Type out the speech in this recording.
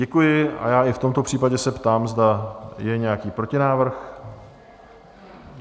Děkuji a já i v tomto případě se ptám, zda je nějaký protinávrh?